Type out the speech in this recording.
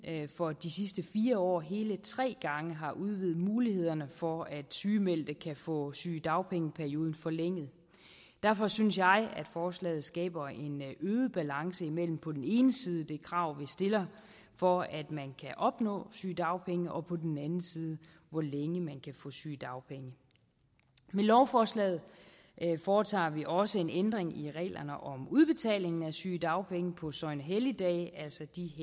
for de sidste fire år hele tre gange har udvidet mulighederne for at sygemeldte kan få sygedagpengeperioden forlænget derfor synes jeg at forslaget skaber en øget balance imellem på den ene side det krav vi stiller for at man kan opnå sygedagpenge og på den anden side hvor længe man kan få sygedagpenge med lovforslaget foretager vi også en ændring i reglerne om udbetaling af sygedagpenge på søgnehelligdage altså de